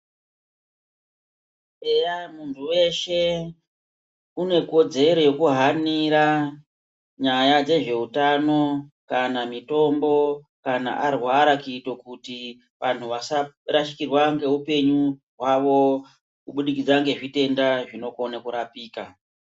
Eya muntu weshe une kodzero yekuhanira nyaya dzezveutano kana mitombo kana arwara kuite vanhu vasarashikirwa ngeupenyu hwavo kubudikidza ngezvitenda zvinokone kurapika.